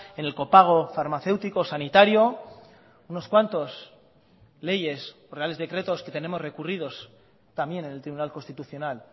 en el copago farmacéutico sanitario unos cuantos leyes reales decretos que tenemos recurridos también en el tribunal constitucional